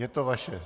Je to vaše.